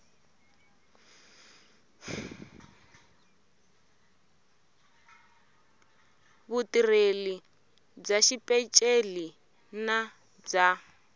vutirheli bya xipeceli na bya